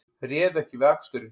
Réðu ekki við aksturinn